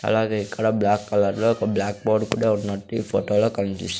అలాగే ఇక్కడ బ్లాక్ కలర్లో ఒక బ్లాక్ బోర్డు కూడా ఉన్నటు ఈ ఫొటో లో కనిపిస్తూ ఉంది.